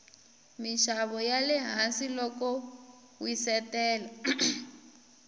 minxavo yale hansi loko wsitele